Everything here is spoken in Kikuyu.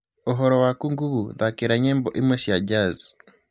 Uhoro waku google thakira nyĩmbo imwe cia jazz